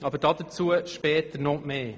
Doch dazu sage ich später noch mehr.